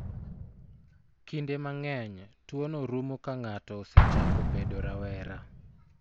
Kinde mang'eny, tuwono rumo ka ng'ato osechako bedo rawera.